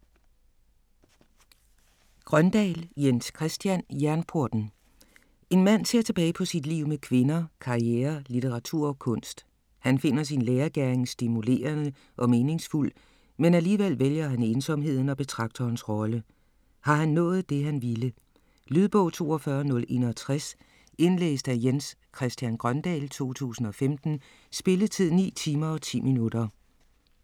Grøndahl, Jens Christian: Jernporten En mand ser tilbage på sit liv med kvinder, karriere, litteratur og kunst. Han finder sin lærergerning stimulerende og meningsfuld, men alligevel vælger han ensomheden og betragterens rolle. Har han nået det han ville? Lydbog 42061 Indlæst af Jens Christian Grøndahl, 2015. Spilletid: 9 timer, 10 minutter.